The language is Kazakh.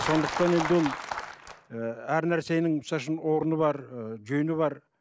сондықтан енді ол ы әр нәрсенің орны бар ы жөні бар